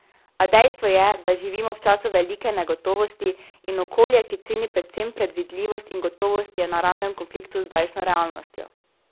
A dejstvo je, da živimo v času velike negotovosti, in okolje, ki ceni predvsem predvidljivost in gotovost, je v naravnem konfliktu z zdajšnjo realnostjo.